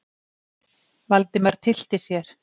Valdimar tyllti sér.